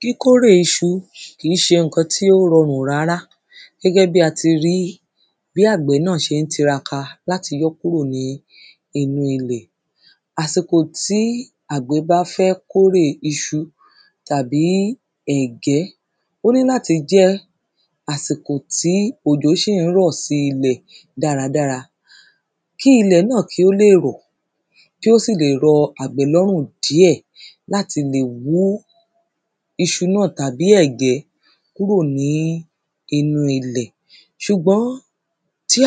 kíkórè iṣu kì ń ṣe ǹkan tí ó rọrùn rárá gẹ́gẹ́ bí ati rí bí àgbẹ̀ náà ṣe ń tiraka láti yọ́ kúrò ní inú ilẹ̀ àsìkò tí àgbẹ̀ bá fẹ́ kórè iṣu tàbí tàbí ẹ̀gẹ́ ó ní láti jẹ́ àsìkò tí ọ̀jọ̀ ṣè ń rọ̀ sí ilẹ̀ dáradára kí ilẹ̀ náà kí ó lè rọ̀ kí ó sì lè rọ àgbẹ̀ lọ́rùn díẹ̀ láti lè wú iṣu náà tàbí ẹ̀gẹ́ kúrò ní inú ilẹ̀ ṣùgbọ́n tí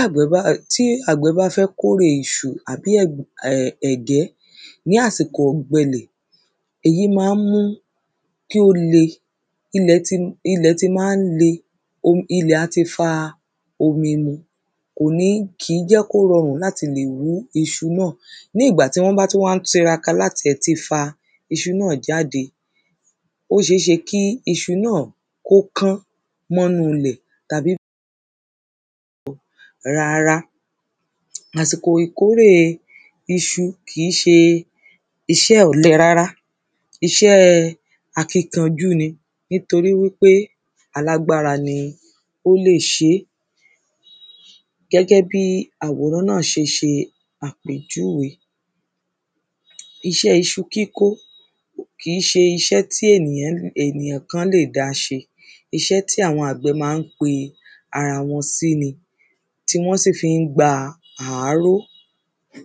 àgbẹ̀ bá fẹ́ kórè iṣu àbí ẹ̀gẹ́ ní àsìkò ọ̀gbẹlẹ̀ èyí má ń mú kí ó le ilẹ̀ ti má ń le ilẹ̀ á ti fa omi mu kìí jẹ́ kó rọrùn láti lè wú iuṣu náà ní ìgbà tí wọ́n bá tú ń tiraka láti ẹ̀ ti fa iṣu náà jáde ó ṣeéṣe kí iṣu náà kọ́ kán mọ́nu lẹ̀ tàbí rárá àsìkò ìkórè iṣu kìí ṣe isẹ́ ọ̀lẹ rárá isẹ́ẹ akínkanjú ní nítorí wí pé alágbára ni ò lè ṣé gẹ́gẹ́ bí àwòrán náà ṣeṣe àpèjúwe isẹ́ iṣu kíkọ́ kìí ṣe isẹ́ tí ènìyàn kan lè dá ṣe isẹ́ tí àwọn àgbẹ̀ má ń pe ara wọn sí ni tí wọ́n sì fí ń gba àáró